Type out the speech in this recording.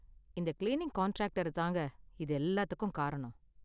இந்த cleaning contractor தாங்க இது எல்லாத்துக்கும் காரணம்.